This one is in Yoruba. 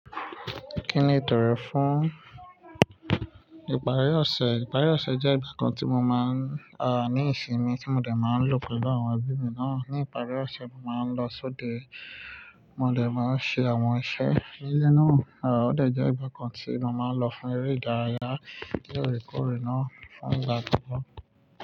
Kí ni ìtòrẹ fún ìparí ọ̀sẹ̀? Ìparí ọ̀sẹ̀ jẹ́ ìgbà kan tí mo máa ń, ní ìsinmi tí mo dè máa ń lò pẹ̀lú àwọn ẹbí mi náà. Ní ìparí ọ̀sẹ̀ mo máa ń lọ sóde, mo dè máa ṣe àwọn iṣẹ́ ní ilé náà, ó dè jẹ́ ìgbà kan tí mo máa ń lọ fún eré ìdárayá, lóòrèkóòrè náà fún ìgbà tó tò.